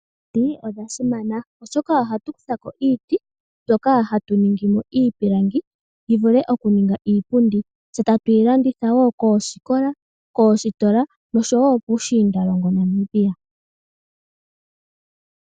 Omiti odha simana oshoka ohatu kutha ko iiti mbyoka hatu ningi mo iipilangi yi vule okuninga iipundi tse tatu yi landitha po koosikola, koositola nosho wo puushinda longo yaNamibia.